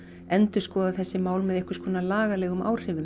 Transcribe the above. endurskoða þessi mál með einhvers konar lagalegum áhrifum